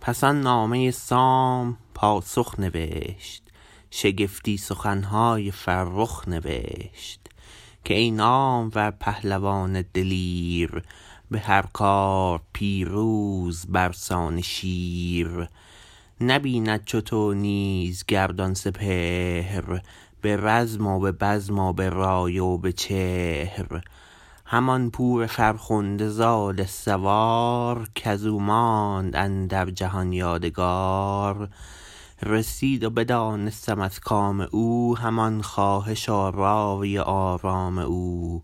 پس آن نامه سام پاسخ نوشت شگفتی سخنهای فرخ نوشت که ای نامور پهلوان دلیر به هر کار پیروز برسان شیر نبیند چو تو نیز گردان سپهر به رزم و به بزم و به رای و به چهر همان پور فرخنده زال سوار کزو ماند اندر جهان یادگار رسید و بدانستم از کام او همان خواهش و رای و آرام او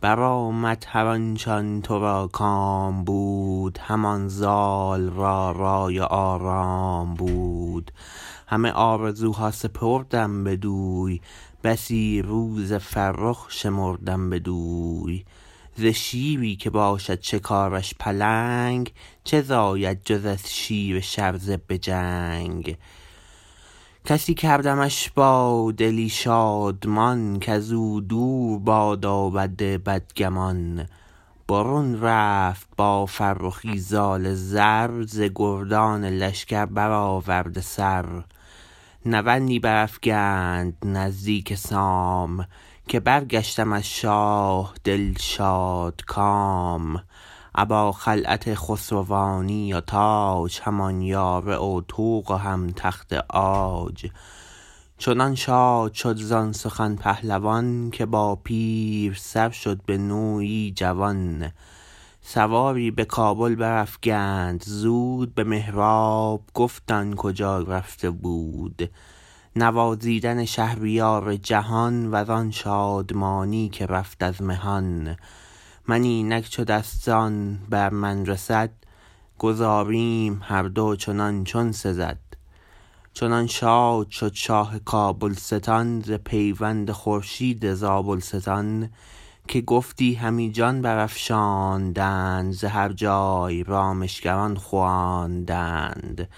برآمد هر آنچ آن ترا کام بود همان زال را رای و آرام بود همه آرزوها سپردم بدوی بسی روز فرخ شمردم بدوی ز شیری که باشد شکارش پلنگ چه زاید جز از شیر شرزه به جنگ گسی کردمش با دلی شادمان کزو دور بادا بد بدگمان برون رفت با فرخی زال زر ز گردان لشکر برآورده سر نوندی برافگند نزدیک سام که برگشتم از شاه دل شادکام ابا خلعت خسروانی و تاج همان یاره و طوق و هم تخت عاج چنان شاد شد زان سخن پهلوان که با پیر سر شد به نوی جوان سواری به کابل برافگند زود به مهراب گفت آن کجا رفته بود نوازیدن شهریار جهان وزان شادمانی که رفت از مهان من اینک چو دستان بر من رسد گذاریم هر دو چنان چون سزد چنان شاد شد شاه کابلستان ز پیوند خورشید زابلستان که گفتی همی جان برافشاندند ز هر جای رامشگران خواندند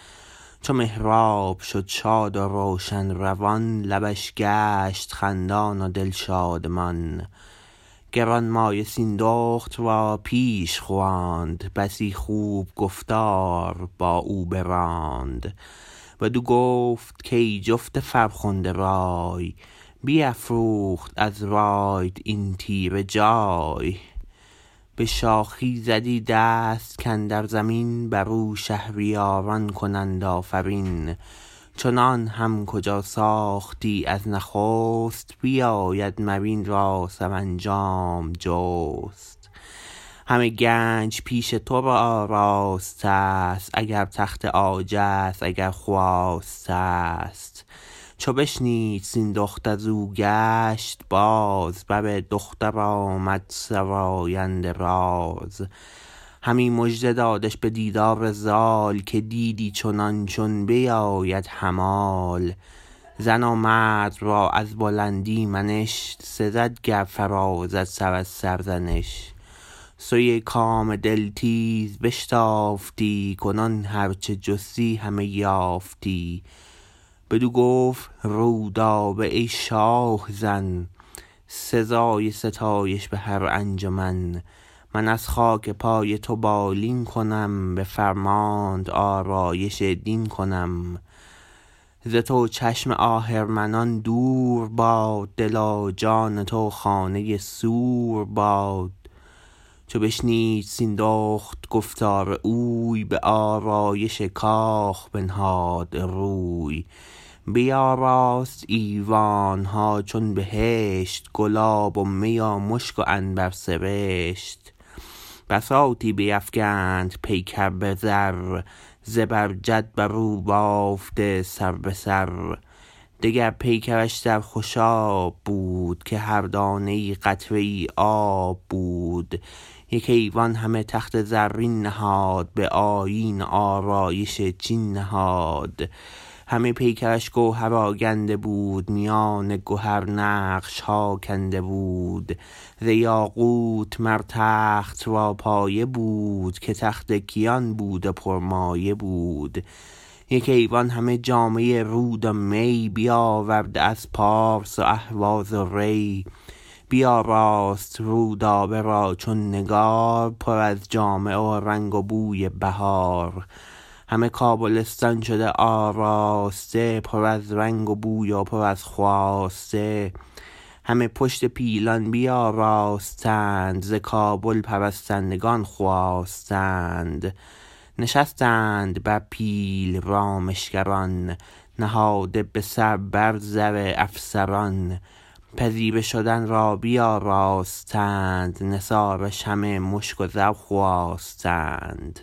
چو مهراب شد شاد و روشن روان لبش گشت خندان و دل شادمان گرانمایه سیندخت را پیش خواند بسی خوب گفتار با او براند بدو گفت کای جفت فرخنده رای بیفروخت از رایت این تیره جای به شاخی زدی دست کاندر زمین برو شهریاران کنند آفرین چنان هم کجا ساختی از نخست بیاید مر این را سرانجام جست همه گنج پیش تو آراستست اگر تخت عاجست اگر خواستست چو بشنید سیندخت ازو گشت باز بر دختر آمد سراینده راز همی مژده دادش به دیدار زال که دیدی چنان چون بباید همال زن و مرد را از بلندی منش سزد گر فرازد سر از سرزنش سوی کام دل تیز بشتافتی کنون هر چه جستی همه یافتی بدو گفت رودابه ای شاه زن سزای ستایش به هر انجمن من از خاک پای تو بالین کنم به فرمانت آرایش دین کنم ز تو چشم آهرمنان دور باد دل و جان تو خانه سور باد چو بشنید سیندخت گفتار اوی به آرایش کاخ بنهاد روی بیاراست ایوانها چون بهشت گلاب و می و مشک و عنبر سرشت بساطی بیفگند پیکر به زر زبر جد برو بافته سر به سر دگر پیکرش در خوشاب بود که هر دانه ای قطره ای آب بود یک ایوان همه تخت زرین نهاد به آیین و آرایش چین نهاد همه پیکرش گوهر آگنده بود میان گهر نقشها کنده بود ز یاقوت مر تخت را پایه بود که تخت کیان بود و پرمایه بود یک ایوان همه جامه رود و می بیاورده از پارس و اهواز و ری بیاراست رودابه را چون نگار پر از جامه و رنگ و بوی بهار همه کابلستان شد آراسته پر از رنگ و بوی و پر از خواسته همه پشت پیلان بیاراستند ز کابل پرستندگان خواستند نشستند بر پیل رامشگران نهاده به سر بر زر افسران پذیره شدن را بیاراستند نثارش همه مشک و زر خواستند